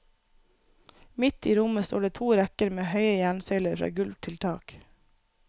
Midt i rommet står det to rekker med høye jernsøyler fra gulv til tak.